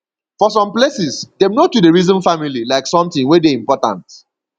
for some places dem no too dey reason family like something wey dey important